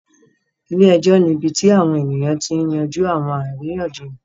Ile-ẹjọ ni ibi ti awọn eniyan ti yanju awọn ariyanjiyan